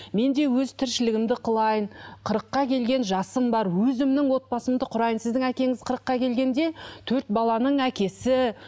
мен де өз тіршілігімді қылайын қырыққа келген жасым бар өзімнің отбасымды құрайын сіздің әкеңіз қырыққа келгенде төрт баланың әкесі